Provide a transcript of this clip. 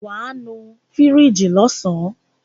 Wàá nu fíríjì lọ́sàn.